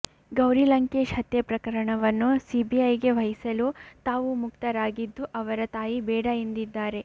ಗೌರಿ ಲಂಕೇಶ್ ಹತ್ಯೆ ಪ್ರಕರಣವನ್ನು ಸಿಬಿಐಗೆ ವಹಿಸಲು ತಾವು ಮುಕ್ತರಾಗಿದ್ದು ಅವರ ತಾಯಿ ಬೇಡ ಎಂದಿದ್ದಾರೆ